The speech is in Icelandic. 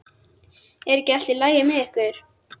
Er ekki allt í lagi með ykkur?